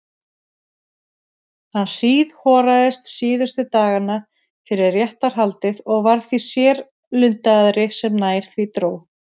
Hann hríðhoraðist síðustu dagana fyrir réttarhaldið og varð því sérlundaðri sem nær því dró.